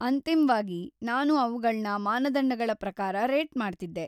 ಅಂತಿಮ್ವಾಗಿ, ನಾನು ಅವ್ಗಳ್ನ ಮಾನದಂಡಗಳ ಪ್ರಕಾರ ರೇಟ್ ಮಾಡ್ತಿದ್ದೆ.